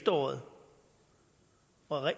og